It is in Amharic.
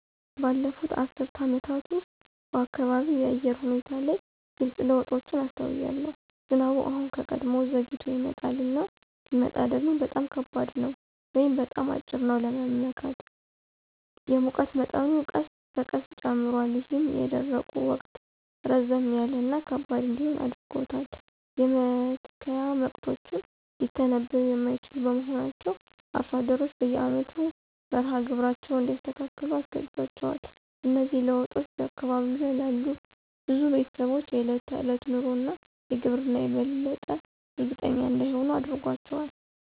ባለፉት አስርት ዓመታት ውስጥ፣ በአካባቢው የአየር ሁኔታ ላይ ግልጽ ለውጦችን አስተውያለሁ። ዝናቡ አሁን ከቀድሞው ዘግይቶ ይመጣል፣ እና ሲመጣ ደግሞ በጣም ከባድ ነው ወይም በጣም አጭር ነው ለመመካት። የሙቀት መጠኑ ቀስ በቀስ ጨምሯል, ይህም የደረቁ ወቅት ረዘም ያለ እና ከባድ እንዲሆን አድርጎታል. የመትከያ ወቅቶችም ሊተነብዩ የማይችሉ በመሆናቸው አርሶ አደሮች በየአመቱ መርሃ ግብራቸውን እንዲያስተካክሉ አስገድዷቸዋል. እነዚህ ለውጦች በአካባቢው ላሉ ብዙ ቤተሰቦች የዕለት ተዕለት ኑሮ እና ግብርና የበለጠ እርግጠኛ እንዳይሆኑ አድርጓቸዋል።